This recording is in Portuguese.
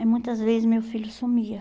E muitas vezes meu filho sumia.